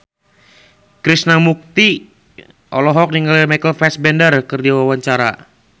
Krishna Mukti olohok ningali Michael Fassbender keur diwawancara